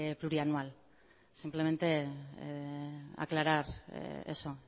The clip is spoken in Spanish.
plurianual simplemente aclarar eso